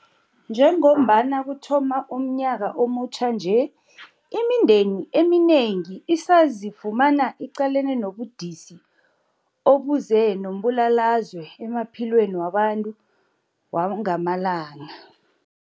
Njengombana kuthoma umnyaka omutjha nje, imindeni eminengi isazifumana iqalene nobudisi obuze nombulalazwe emaphilweni wabo wangamalanga.